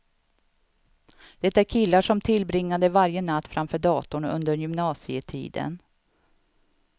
Det är killar som tillbringade varje natt framför datorn under gymnasietiden.